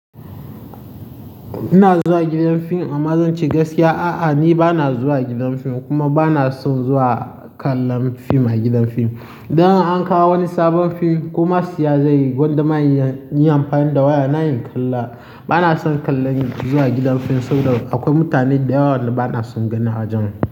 Ina zuwa gidan fim? Amma zancr gaskiya a'a, ni ba na zuwa gidan fim kuma ba na son zuwa kallon fim a gidan fim. Dan an kawo wani sabon fim kuma siya zai gwada maye yi amfani da waya na yin kalla. Ba na son kallon zuwa gidan fim saboda akwai mutane da yawa bana son ganin ajen su.